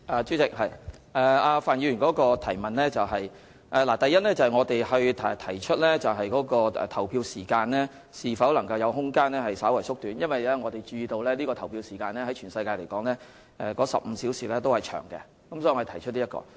主席，就范議員的補充質詢，我想指出，第一，我們就投票時間是否有空間稍為縮短進行諮詢，是因為我們注意到，與世界其他地方比較，香港15小時的投票時間偏長。